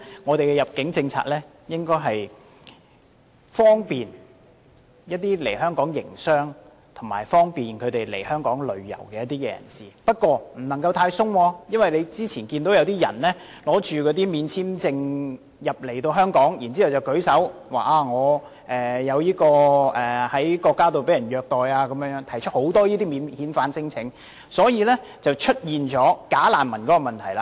我們的入境政策應為來港營商及旅遊的人士提供便利，但也不能太過寬鬆，因為正如大家早前所見，有些人免簽證入境香港後，聲稱在所屬國家遭受虐待而提出免遣返聲請，因而導致出現"假難民"問題。